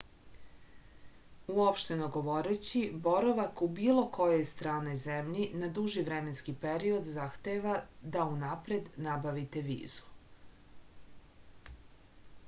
uopšteno govoreći boravak u bilo kojoj stranoj zemlji na duži vremenski period zahteva da unapred nabavite vizu